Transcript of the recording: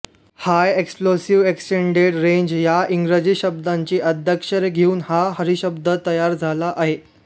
हाय explosive extended range या इंग्रजी शब्दांची आद्याक्षरे घेउन हा हीरशब्द तयार झाला आहे